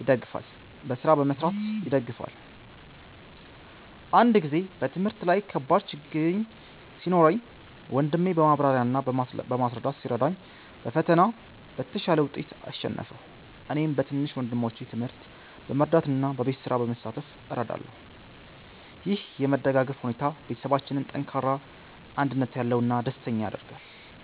ይደግፈናል። አንድ ጊዜ በትምህርት ላይ ከባድ ችግኝ ሲኖረኝ ወንድሜ በማብራሪያ እና በማስረዳት ሲረዳኝ በፈተና በተሻለ ውጤት አሸነፍሁ። እኔም በትንሽ ወንድሞቼ ትምህርት በመርዳት እና በቤት ስራ በመሳተፍ እረዳለሁ። ይህ የመደጋገፍ ሁኔታ ቤተሰባችንን ጠንካራ፣ አንድነት ያለው እና ደስተኛ ያደርጋል።